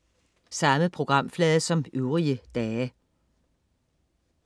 Samme programflade som øvrige dage